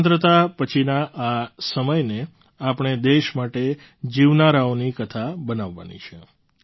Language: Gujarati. સ્વતંત્રતા પછીના આ સમયને આપણે દેશ માટે જીવનારાઓની કથા બનાવવાની છે